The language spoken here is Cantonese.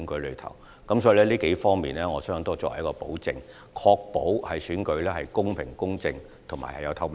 因此，我相信這多方面可以作為一種保證，確保選舉公平公正，而且具有透明度。